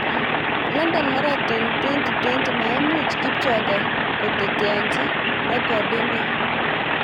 London Marathon 2020: Maimuch Kipchoge koteteanchi rekidinyi